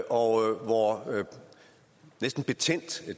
orden og hvor næsten betændt